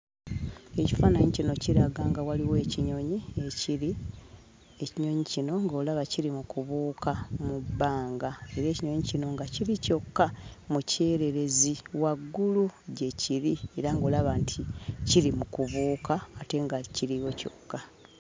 Ekifaannyi kino kiraga nga waliwo ekinyonyi ekiri, ekinyonyi kino ng'olaga kiri mu kubuuka mu bbanga era ekinyonyi kino nga kiri kyokka mu kyererezi waggulu, gye kiri era ng'olaba nti kiri mu kubuuka ate nga kiriyo kyokka.